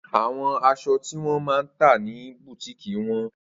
Awọn aṣọ ti wọn ma ta ni bùtíìkì wọn